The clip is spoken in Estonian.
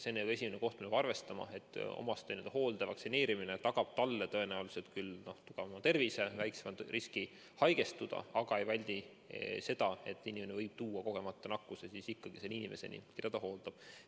See on esimene asi, mida peab arvestama, et omastehooldaja vaktsineerimine tagab talle tõenäoliselt küll tugevama tervise, väiksema riski haigestuda, aga ei väldi seda, et ta võib tuua kogemata nakkuse ikkagi sellele inimesele, keda ta hooldab.